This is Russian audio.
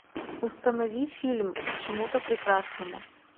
установи фильм к чему то прекрасному